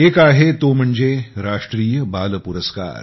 एक आहे तो म्हणजे राष्ट्रीय बाल पुरस्कार